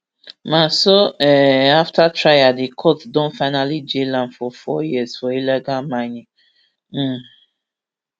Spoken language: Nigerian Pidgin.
ma so um afta trial di court don finally jail am for four years for illegal mining um